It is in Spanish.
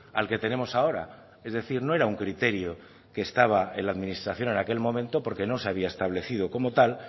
al que tenemos ahora es decir no era un criterio que estaba en la administración en aquel momento porque no se había establecido como tal